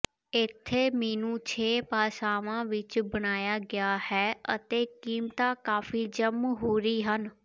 ਇੱਥੇ ਮੀਨੂੰ ਛੇ ਭਾਸ਼ਾਵਾਂ ਵਿੱਚ ਬਣਾਇਆ ਗਿਆ ਹੈ ਅਤੇ ਕੀਮਤਾਂ ਕਾਫ਼ੀ ਜਮਹੂਰੀ ਹਨ